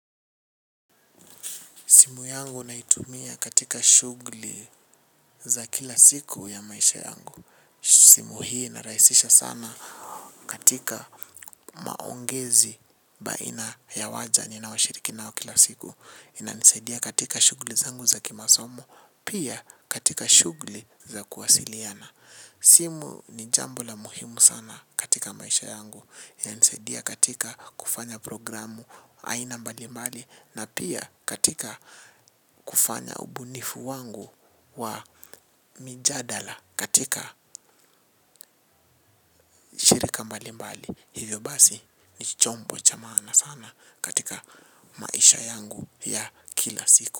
Simu yangu naitumia katika shugli za kila siku ya maisha yangu. Simu hii inarahisisha sana katika maongezi baina ya waja ninaoshiriki ao kila siku. Inanisadia katika shugli zangu za kimasomo, pia katika shugli za kuwasiliana. Simu ni jambo la muhimu sana katika maisha yangu. Inansaidia katika kufnya programu aina mbali mbali na pia katika kufanya ubunifu wangu wa mijadala katika shirika mbalimbali. Hivyo basi ni chombo cha maana sana katika maisha yangu ya kila siku.